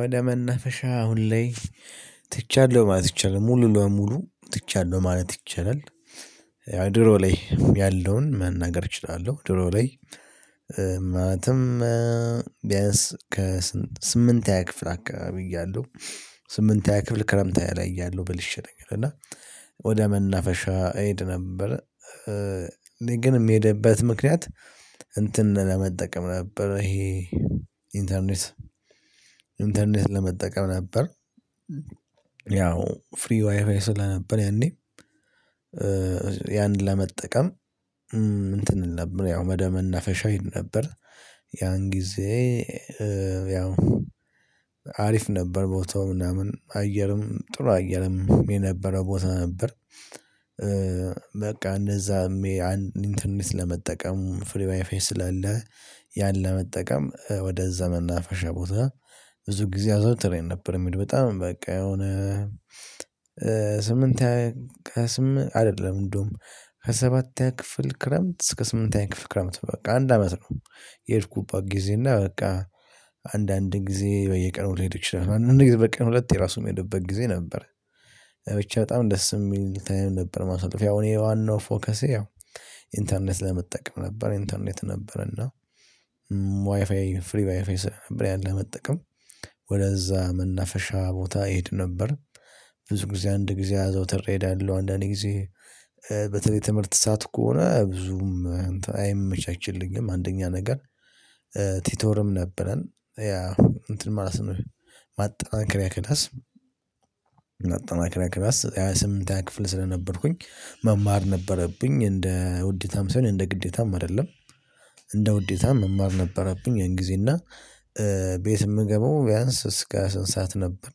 ወደ መናፈሻ ሁሌ ትቻለሁ ማለት ትቻለሁ ሙሉ ለሙሉ ትቻለሁ ማለት ይቻላል። ያው ድሮ ላይ ያለውን መናገር እችላለሁ ድሮ ላይ። ማለትም ቢያንስ ከስምንት ስምንተኛ የክፍል አካባቢ እያለሁ። ስምንተኛ ክፍል ክረምት ላይ እያለሁ በልሼ ነገር እና ወደ መናፈሻ እሄድ ነበር። እኔ ግን የምሄድበት ምክንያት እንትን ለመጠቀም ነበር ይሄ ኢንተርኔት ኢንተርኔት ለመጠቀም ነበር። ያው ፍሪ ዋይፋይ ስለነበር ያኔ። ያንን ለመጠቀም እንትን ነበር ያው ወደ መናፈሻ እሄድ ነበር። ያን ጊዜ ያው አሪፍ ነበር ቦታው ምናምን አየርም ጥሩ አየርም የነበረው ቦታ ነበር። በቃ እንደዛ ዝም ብዬ አንድ እንትን ለመጠቀም ፍሪ ዋይፋይ ስላለ ያን ለመጠቀም ወደዛ መናፈሻ ቦታ ብዙ ጊዜ አዘወትሬ እሄድ ነበር። በጣም በቃ የሆነ ስምንት አይደለም እንደውም ከሰባተኛ ክፍል ክረምት እስከ ስምንተኛ ክፍል ክረምት በቃ አንድ አመት ነው። የሄድኩበት ጊዜ እና በቃ አንዳንድ ጊዜ በየቀኑ ልሄድ ይችላል አንዳንድ ጊዜ በቀኑ ሁለት ጊዜ ራሱ የሚሄድበት ጊዜ ነበር። ብቻ በጣም ደስ የሚል ታይም ነበር ማሳለፍ ያው እኔ ዋናው ፎከሴ ያው ኢንተርኔት ለመጠቀም ነበር። ኢንተርኔት ነበር እና ዋይፋይ ፍሪ ዋይፋይ ነበር ያለህ መጠቀም ወደዛ መናፈሻ ቦታ እሄድ ነበር። ብዙ ጊዜ አንድ ጊዜ አዘው ትሬዳለሁ አንዳንዴ ጊዜ በተለይ ትምህርት ሰዓት ከሆነ ብዙም አይመቻችልኝም። አንደኛ ነገር ቲቶርም ነበረን ያ እንትን ማለት ነው። ማጠናከሪያ ክላስ ማጠናከሪያ ስምንተኛ ክፍል ስለነበርኩኝ መማር ነበረብኝ እንደ ውዴታም ሳይሆን እንደ ግዴታም አይደለም። እንደ ውዴታም መማር ነበረብኝ ያን ጊዜ እና ቤት የምገባው ቢያንስ እስከ ስንት ሰዓት ነበር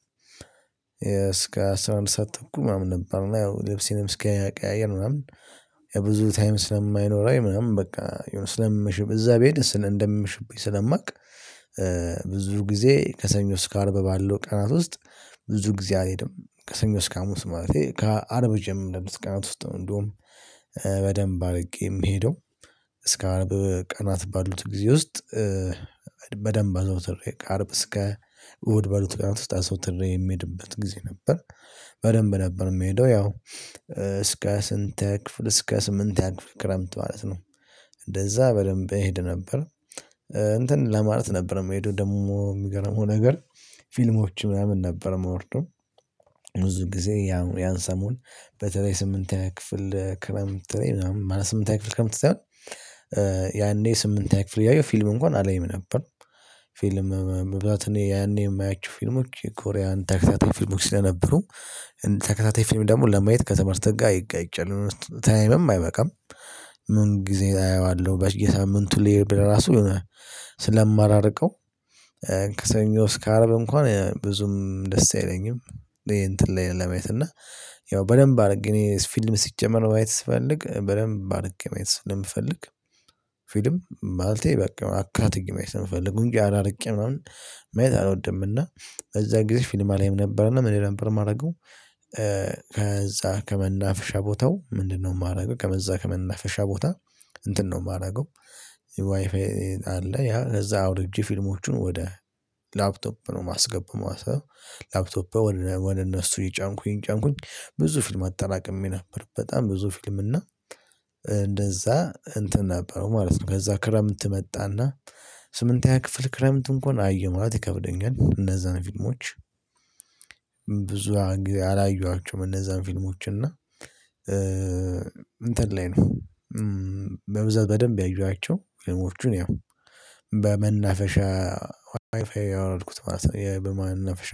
እስከ አስራ አንድ ሰዓት ተኩል ምናምን ነበር። ልብሴንም እስኪያቀያየር ምናምን ያ ብዙ ታይም ስለማይኖረኝ ምናምን በቃ ስለምሽም እዛ ብሄድ ስለ እንደምሽብኝ ስለማውቅ። ብዙ ጊዜ ከሰኞ እስከ አርብ ባለው ቀናት ውስጥ ብዙ ጊዜ አልሄድም። ከሰኞ እስከ ሀሙስ ማለት ነው። ከአርብ ጀምሮ በ አምስት ቀናት ውስጥ እንደውም በደንብ አድርጌ የምሄደው። እስከ አርብ ቀናት ባሉት ጊዜ ውስጥ በደንብ አዛውትሬ ከአርብ እስከ እሁድ ባሉት ቀናት ውስጥ አዘውትሬ የሚሄድበት ጊዜ ነበር። በደንብ ነበር የምሄደው ያው እስከ ስንተ ክፍል እስከ ስምንተኛ ክፍል ክረምት ማለት ነው። እንደዛ በደንብ እሄድ ነበር እንትን ለማለት ነበር መምሄደ ደግሞ የሚገርመው ነገር ፊልሞች ምናምን ነበር ማወርደው። ብዙ ጊዜ ያን ሰሞን በተለይ ስምንተኛ ክፍል ክረምት ላይ ምናምን ስምንተኛ ክፍል ክረምት ሳይሆን ከምትሰጠው ያኔ ስምንተኛ ክፍል እያለው ፊልም እንኳን አላይም ነበር። ፊልም ብዛት እኔ ያኔ የማያችሁ ፊልሞች የኮሪያን ተከታታይ ፊልሞች ስለነበሩ ተከታታይ ፊልም ደግሞ ለማየት ክትምህርት ጋር ይጋጫል ታይምም አይበቃም። ምን ጊዜ አየዋለሁ በሳምንቱ ላይ ለራሱ ስለማላርቀው አያልቅም። ከሰኞ እስከ አረብ እንኳን ብዙም ደስ አይለኝም። ይሄ እንትን ላይ ለማየት እና ያው በደንብ አድርግ እኔ ፊልም ሲጀመር ማየት ስፈልግ በደንብ አድርግ ማየት ስለምፈልግ። ፊልም ማልቴ በቃ አካ ጥቅም ስለምፈልግ ቁንጫ አላርቄም ምናምን መየት አልወደምና። እዛ ጊዜ ፊልም አላይም ነበርና ምን ነበር የማደርገው? ከዛ ከመናፍሻ ቦታው ምንድነው የማደርገው? ከመዛ ከመናፍሻ ቦታ እንትን ነው የማደርገው። ዋይፋይ አለ ያ እዛ አውርጄ ፊልሞቹን ወደ ላፕቶፕ ነው ማስገብ ማለት ነው። ላፕቶፕ ወደ እነሱ የጫንኩኝ እጫንኩኝ ብዙ ፊልም አጠራቅሜ በጣም ብዙ ፊልም እና እንደዛ እንትን ነበረው ማለት ነው። ከዛ ክረምት መጣና ስምንተኛ ክፍል ክረምት እንኳን አየው ማለት ይከብደኛል እነዛን ፊልሞች። ብዙ አላየኋቸውም እነዛን ፊልሞች እና እንትን ላይ ነው በብዛት በደንብ ያየኋቸው። ያው በመናፈሻ ዋይፋይ ያወረድኩት ማለት ነው። በመናፈሻ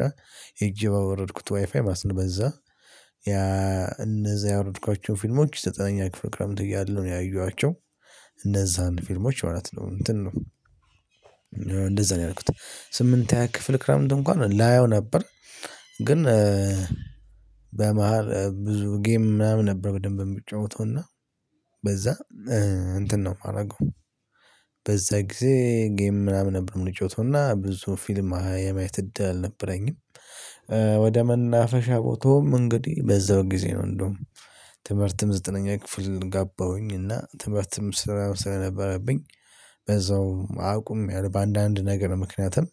እጅ ባወረድኩት ዋይፋይ ማለት ነው። ማስነበዛ ያ እነዛ ያወረድኳቸውን ፊልሞች ዘጠነኛ ክፍል ክረምት እያለሁ ነው ያየኋቸው። እንዛን ፊልሞች ማለት ነው እንትን ነው። እንደዛ ነው ያልኩት ስምንተኛ ክፍል ክረምት እንኳን ላየው ነበር። ግን በመሃል ብዙ ጌም ምናምን ነበር በደንብ የምጫወተው በዛ እንትን ነው የማደርገው። በዛ ጊዜ ጌም ምናምን ነበር የምንጫወተው እና ብዙ ፊልም የማየት እድል አልነበረኝም። ወደ መናፈሻ ቦታውም እንግዲህ በዛው ጊዜ ነው እንደውም። ትምህርትም ዘጠነኛ ክፍል ጋባሁኝ እና ትምህርትም ስራም ስለነበረብኝ በዛው አቁሜያለው በአንዳንድ ነገር ምክንያቱም።